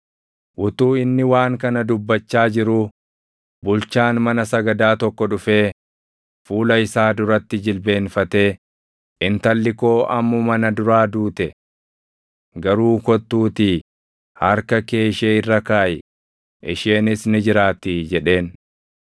Utuu inni waan kana dubbachaa jiruu, bulchaan mana sagadaa tokko dhufee fuula isaa duratti jilbeenfatee, “Intalli koo ammuma na duraa duute. Garuu kottuutii harka kee ishee irra kaaʼi; isheenis ni jiraattii” jedheen.